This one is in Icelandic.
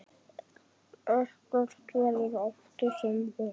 Ekkert verður aftur sem var.